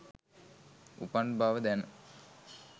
උපන් බව දැන